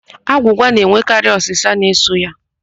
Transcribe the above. Agwụgwa na-enwekarị ụ́sà so ya.